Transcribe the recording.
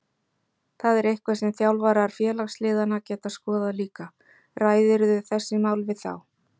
Það er eitthvað sem þjálfarar félagsliðanna geta skoðað líka Ræðirðu þessi mál við þá?